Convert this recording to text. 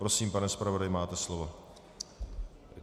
Prosím, pane zpravodaji, máte slovo.